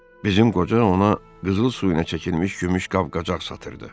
Bizim qoca ona qızıl suyu ilə çəkilmiş gümüş qab-qacaq satırdı.